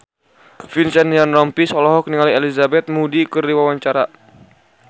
Vincent Ryan Rompies olohok ningali Elizabeth Moody keur diwawancara